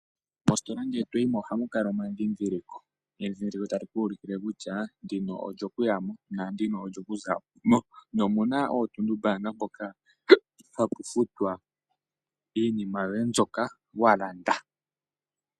Mositola ngele toyimo ohamu kala omandhindhiliko. Endhindhiliko tali ku ulukile kutya ndino olyokuyamo, naandino olyokuzamo. Omuna oontuntumbaanka mpono hapu futwa iinima yoye mbyoka walanda.